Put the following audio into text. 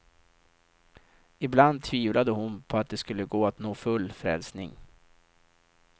Ibland tvivlade hon på att det skulle gå att nå full frälsning.